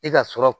I ka sɔrɔ